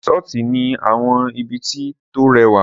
Risọ̀ti ni àwọn ibiti tó rẹwa